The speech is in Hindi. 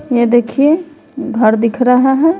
यह देखिए घर दिख रहा है।